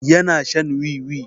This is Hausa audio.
Yana shan wiwi.